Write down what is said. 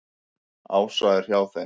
Ása er hjá þeim.